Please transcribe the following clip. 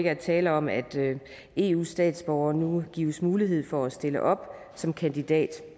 at tale om at eu statsborgere nu gives mulighed for at stille op som kandidater